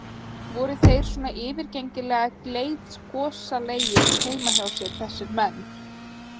Voru þeir svona yfirgengilega gleiðgosalegir heima hjá sér þessir menn?